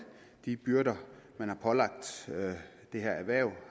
de byrder man har pålagt det her erhverv